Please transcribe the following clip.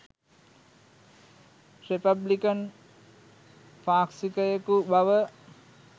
republican පාක්ෂිකයකු බව